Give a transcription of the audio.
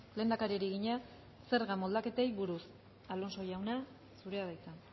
lehendakariari egina zerga moldaketei buruz alonso jauna zurea da hitza